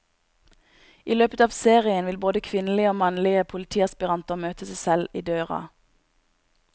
I løpet av serien vil både kvinnelige og mannlige politiaspiranter møte seg selv i døren.